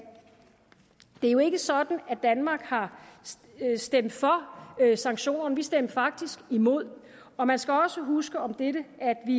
jo ikke er sådan at danmark har stemt for sanktionerne vi stemte faktisk imod og man skal også huske om dette